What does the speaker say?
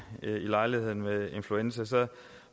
i lejligheden med influenza